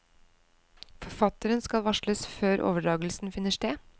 Forfatteren skal varsles før overdragelsen finner sted.